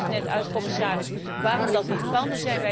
U legt net uit, commissaris, waarom dat niet kan.